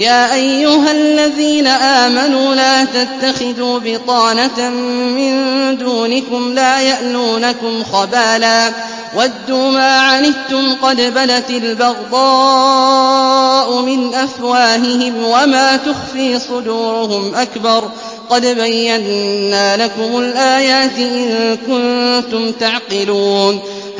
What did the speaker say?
يَا أَيُّهَا الَّذِينَ آمَنُوا لَا تَتَّخِذُوا بِطَانَةً مِّن دُونِكُمْ لَا يَأْلُونَكُمْ خَبَالًا وَدُّوا مَا عَنِتُّمْ قَدْ بَدَتِ الْبَغْضَاءُ مِنْ أَفْوَاهِهِمْ وَمَا تُخْفِي صُدُورُهُمْ أَكْبَرُ ۚ قَدْ بَيَّنَّا لَكُمُ الْآيَاتِ ۖ إِن كُنتُمْ تَعْقِلُونَ